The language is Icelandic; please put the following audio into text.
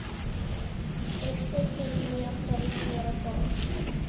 Fyrstu kynni okkar voru góð.